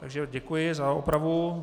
Takže děkuji za opravu.